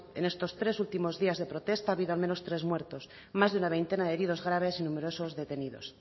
en estos tres últimos días de protesta ha habido al menos tres muertos más de una veintena de heridos graves y numerosos detenidos